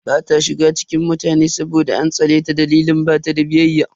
Ba ta iya shiga cikin mutane saboda an tsane ta dalilin bata da biyayya.